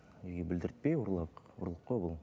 үйге білдіртпей ұрлап ұрлық қой бұл